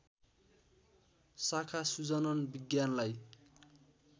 शाखा सुजनन विज्ञानलाई